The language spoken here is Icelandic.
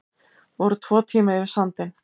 Voru tvo tíma yfir sandinn